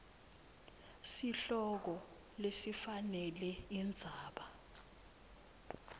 sihloko lesifanele indzaba